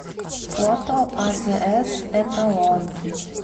фото азс эталон